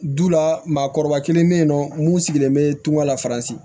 Du la maakɔrɔba kelen be yen nɔ mun sigilen bɛ tunga la faransi